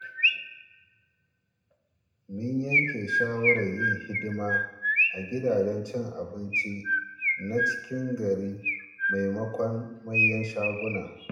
Mun yanke shawarar yin hidima a gidajen cin abinci na cikin gari maimakon manyan shaguna.